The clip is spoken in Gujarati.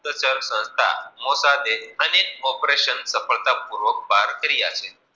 ચર્ચા સંસ્થા મોટા દેસ અને ઓપરેશન સફળતા પુર્વ બાર કર્યા છે.